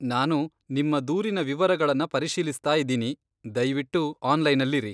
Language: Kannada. ನಾನು ನಿಮ್ಮ ದೂರಿನ ವಿವರಗಳನ್ನ ಪರಿಶೀಲಿಸ್ತಾ ಇದೀನಿ, ದಯ್ವಿಟ್ಟು ಆನ್ಲೈನಲ್ಲಿರಿ.